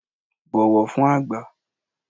Bọ̀wọ̀ fün àgbà!